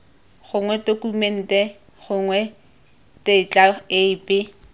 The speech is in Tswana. gongwe tokumente gongwe tetla epe